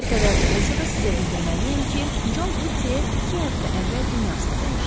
Nə qədər kədərli olsa da sizə bildirməliyəm ki, Con Utyer iki həftə əvvəl dünyasını dəyişdi.